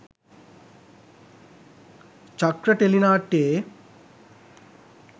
චක්‍ර ටෙලි නාට්‍යයේ